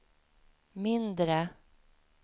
mindre